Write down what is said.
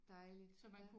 Dejligt ja